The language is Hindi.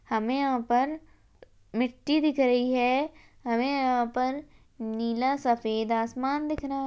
हमे यहाँ पर मिट्टी दिख रही है हमे यहाँ पर सफेद और नीला सफेद आसमान--